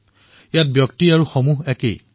ইয়াত ব্যক্তি আৰু সমষ্টি একেটাই